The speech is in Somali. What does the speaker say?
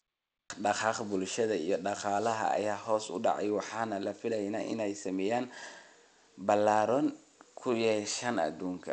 Dhaqdhaqaaqa bulshada iyo dhaqaalaha ayaa hoos u dhacay waxaana la filayaa inay saameyn ballaaran ku yeeshaan adduunka.